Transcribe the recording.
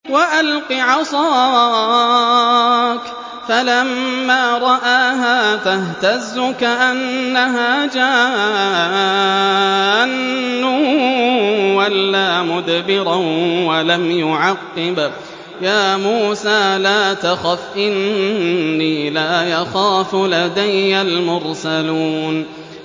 وَأَلْقِ عَصَاكَ ۚ فَلَمَّا رَآهَا تَهْتَزُّ كَأَنَّهَا جَانٌّ وَلَّىٰ مُدْبِرًا وَلَمْ يُعَقِّبْ ۚ يَا مُوسَىٰ لَا تَخَفْ إِنِّي لَا يَخَافُ لَدَيَّ الْمُرْسَلُونَ